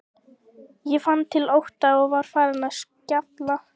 Ég fann til ótta og var farin að skjálfa.